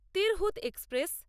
Tirhut express